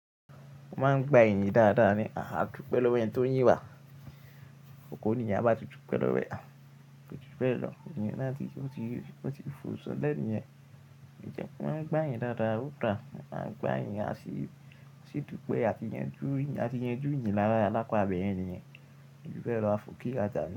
Mo máa ń gba iyìn dáadáa ní àdúpẹ́ lọ́wọ́ ẹní tó ń yi wá. Ọ̀kọ́ nìyẹn bá tún pẹ́ lọ́wẹ́, tún pẹ́ lọ́, ọ̀nìńyẹ́ náà ti ó ti fò sọ dẹ́nìyẹn. Ije o máa ń gba èyìn dáadáa, ó dáa. A máa ń gba èyìn, á sí tún pẹ́ àtí yanjú ìyìn lárá lápá ibẹ̀ẹ̀yen nìyẹn. Èmi fẹ́ ra àfò kí a dáni.